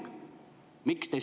Miks te seda teete?